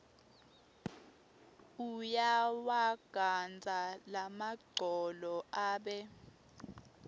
uyawagandza lamagcolo abe